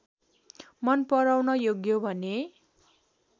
मन पराउन योग्य भने